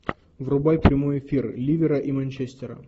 врубай прямой эфир ливера и манчестера